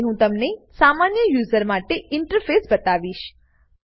હવે હું તમને સામાન્ય યુઝર માટે ઇન્ટરફેસ બતાવીશ